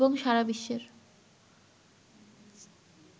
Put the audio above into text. এবং সারা বিশ্বের